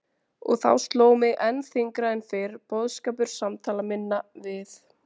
Og þá sló mig enn þyngra en fyrr boðskapur samtala minna við